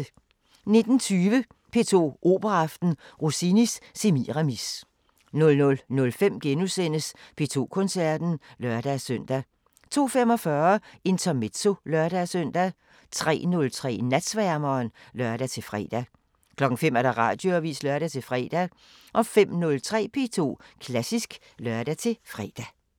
19:20: P2 Operaaften: Rossinis Semiramis 00:05: P2 Koncerten *(lør-søn) 02:45: Intermezzo (lør-søn) 03:03: Natsværmeren (lør-fre) 05:00: Radioavisen (lør-fre) 05:03: P2 Klassisk (lør-fre)